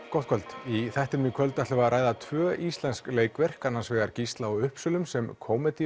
gott kvöld í þættinum í kvöld ætlum við að ræða tvö íslensk leikverk annars vegar Gísla á Uppsölum sem